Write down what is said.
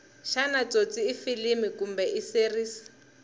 shana tsotsi ifilimu kumbe iseries